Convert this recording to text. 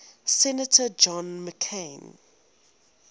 senator john mccain